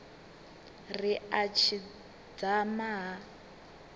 ri a tshi dzama ha